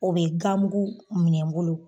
O be gamugu minɛ n bolo